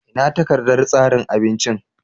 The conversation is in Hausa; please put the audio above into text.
Ina takardar tsarin abincin?